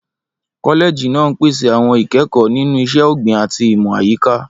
Kọ́lẹ́ẹ̀jì náà ń pèsè àwọn ìkẹ́kọ̀ọ́ nínú Iṣẹ́ Ọ̀gbìn àti Ìmọ̀ Àyíká.